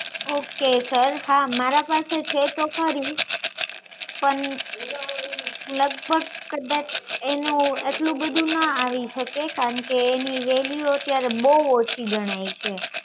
okay sir હા મારા પાસે છે તો ખરી પણ લગભગ કદાચ એનું એટલું બધું ના આવી શકે કારણકે એની વૅલ્યુ અત્યારે બહુ ઓછી ગણાય છે